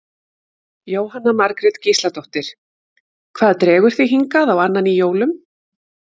Jóhanna Margrét Gísladóttir: Hvað dregur þig hingað á annan í jólum?